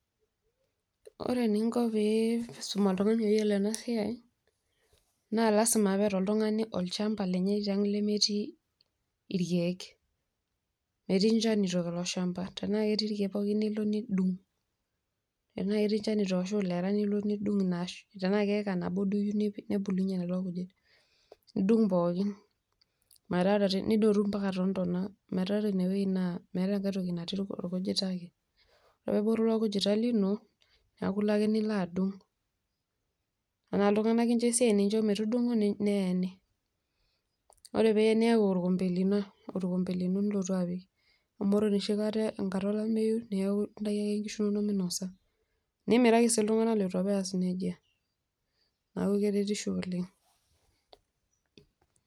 Ore eninko pee isum oltung'ani peyiolou enasiai, na lasima peeta oltung'ani olchamba lenye tiang' lemetii irkeek. Metii inchanito ilo shamba. Tenaa ketii irkeek pokin nilo nidung'. Tenaa ketii inchanito ashu ilera nilo nidung' inaash. Tenaa keeka nabo duo iyieu nipudunye kulo kujit. Nidung' pookin. Metaa ore, nidotu mpaka tontona. Metaa ore ina meeta enkae toki orkujita ake. Ore pebulu ilo kujita lino, neeku ilo ake nilo adung'. Tenaa iltung'anak incho esiai, nincho metudung'o, neeni. Ore pien niayu orkompe lino nilotu apik. Amu ore enoshi kata tenkata olameyu, neeku intaki ake nkishu nonok minosa. Nimiraki si iltung'anak leitu apa ees nejia. Neeku keretisho oleng'.